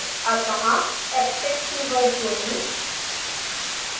अत: abstract keyword जोडें